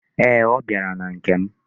Ee, ọ bịara na nke m.